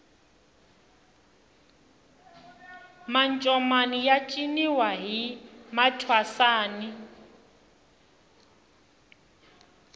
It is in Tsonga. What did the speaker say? mancomani ya ciniwa hi mathwasani